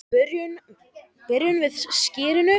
Byrjum við á skyrinu?